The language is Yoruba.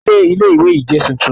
Ilé Ilé ìwé yìí jẹ́ tuntun